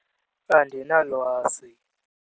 Andinalwazi.